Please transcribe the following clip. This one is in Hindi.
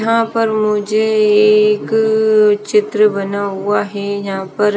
यहां पर मुझे एक चित्र बना हुआ है यहां पर--